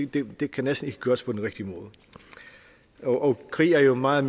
det det kan næsten ikke gøres på den rigtige måde og krig er jo meget